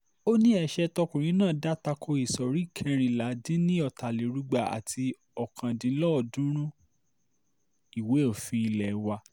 ó ní ẹsẹ̀ tọkùnrin náà dá ta ko ìsọ̀rí kẹrìnládìn ní ọ̀tàlérúgba àti ọ̀kándínlọ́ọ̀ọ́dúnrún ìwé òfin ilé wa